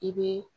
I bɛ